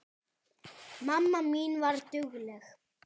Mamma mín var dugleg.